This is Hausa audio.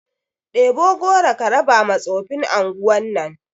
Ɗebo goro ka raba ma tsofin anguwan nan